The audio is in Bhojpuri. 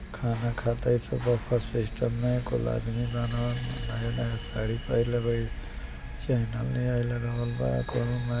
खाना खाता। एसे बफै सिस्टम में कुल आदमी बान। नया-नया साड़ी पहिरले बाड़ी। इ लगावल बा कोनों में।